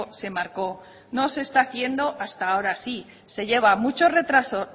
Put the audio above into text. se marcó no se está haciendo hasta ahora sí que lleva mucho retraso